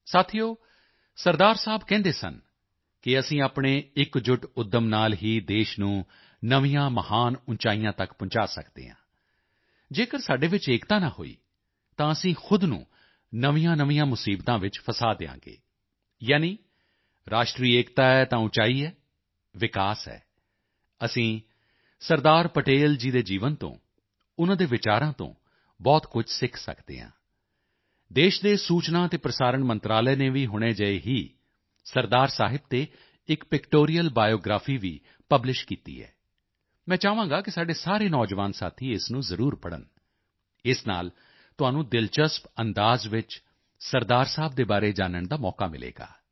ਸਾਥੀਓ ਸਰਦਾਰ ਸਾਹਿਬ ਕਹਿੰਦੇ ਸਨ ਕਿ ਅਸੀਂ ਆਪਣੇ ਇਕਜੁੱਟ ਉੱਦਮ ਨਾਲ ਹੀ ਦੇਸ਼ ਨੂੰ ਨਵੀਆਂ ਮਹਾਨ ਉਚਾਈਆਂ ਤੱਕ ਪਹੁੰਚਾ ਸਕਦੇ ਹਾਂ ਜੇਕਰ ਸਾਡੇ ਵਿੱਚ ਏਕਤਾ ਨਾ ਹੋਈ ਤਾਂ ਅਸੀਂ ਖੁਦ ਨੂੰ ਨਵੀਆਂਨਵੀਆਂ ਮੁਸੀਬਤਾਂ ਵਿੱਚ ਫਸਾ ਦਵਾਂਗੇ ਯਾਨੀ ਰਾਸ਼ਟਰੀ ਏਕਤਾ ਹੈ ਤਾਂ ਉਚਾਈ ਹੈ ਵਿਕਾਸ ਹੈ ਅਸੀਂ ਸਰਦਾਰ ਪਟੇਲ ਜੀ ਦੇ ਜੀਵਨ ਤੋਂ ਉਨ੍ਹਾਂ ਦੇ ਵਿਚਾਰਾਂ ਤੋਂ ਬਹੁਤ ਕੁਝ ਸਿੱਖ ਸਕਦੇ ਹਾਂ ਦੇਸ਼ ਦੇ ਸੂਚਨਾ ਅਤੇ ਪ੍ਰਸਾਰਣ ਮੰਤਰਾਲੇ ਨੇ ਵੀ ਹੁਣੇ ਜਿਹੇ ਹੀ ਸਰਦਾਰ ਸਾਹਿਬ ਤੇ ਇੱਕ ਪਿਕਟੋਰੀਅਲ ਬਾਇਓਗ੍ਰਾਫੀ ਵੀ ਪਬਲਿਸ਼ ਕੀਤੀ ਹੈ ਮੈਂ ਚਾਹਾਂਗਾ ਕਿ ਸਾਡੇ ਸਾਰੇ ਨੌਜਵਾਨ ਸਾਥੀ ਇਸ ਨੂੰ ਜ਼ਰੂਰ ਪੜ੍ਹਨ ਇਸ ਨਾਲ ਤੁਹਾਨੂੰ ਦਿਲਚਸਪ ਅੰਦਾਜ਼ ਵਿੱਚ ਸਰਦਾਰ ਸਾਹਿਬ ਦੇ ਬਾਰੇ ਜਾਨਣ ਦਾ ਮੌਕਾ ਮਿਲੇਗਾ